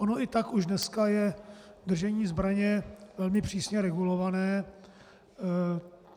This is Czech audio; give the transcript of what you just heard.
Ono i tak už dneska je držení zbraně velmi přísně regulované.